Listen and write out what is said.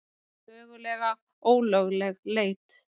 Mögulega ólögleg leit